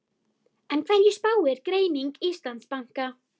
En hverju spáir greining Íslandsbanka?